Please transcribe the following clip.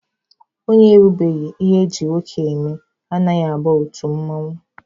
Onye erubeghi ihe eji nwoke eme anaghị aba otu mmanwụ.